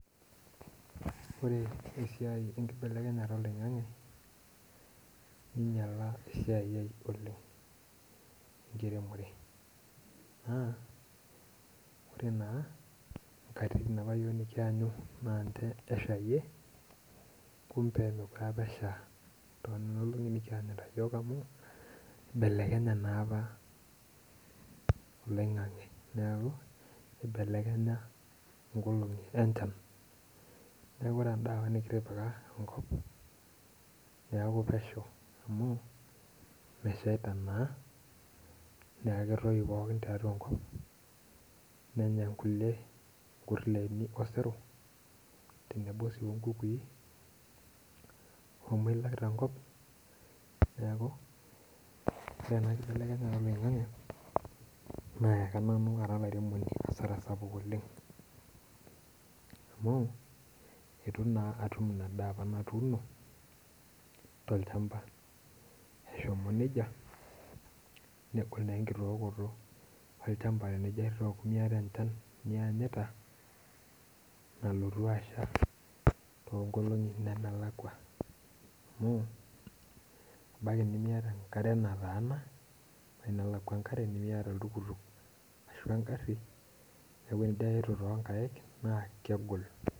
Ore esiai enkibelekenyata oloing'ang'e neinyala esiai ai oleng' enkiremore ,naa ore nkatitin apa nikiyanyu yiok naa ninche eshayie kumbe mookure apa esha tonina olong'i apa nikiyanyita yiok amu eibelekenye naa apa oloing'ang'e neeku eibelekenya nkolong'i enchan .neeku ore endaa apa nikitipika nkop neeku pesho amu mesheita naa neeku netoyu pookin tiatua enkop ,nenya nkulie kurleni oseru tenebo sii onkukui, omoilak tenkop ,neeku ore ena siai enkibelekenyata oloing'ang'e nayaka nanu ara olairemoni asara sapuk oleng'.amu itu naa atum ina daa apa natuuno tolchamba eshomo nejia ,negol naa enkitookoto olchamba tenimiyata enchan niyanyita nalotu asha toonkolong'i nemelakua ,amu ebaiki nimiyata enkare natana ebaiki nelakwa enkare nimiyata oltukutuk ashu engari neeku tinijo aitu toonkaek naa kegol.